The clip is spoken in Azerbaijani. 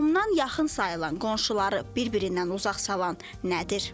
Qohumdan yaxın sayılan qonşuları bir-birindən uzaq salan nədir?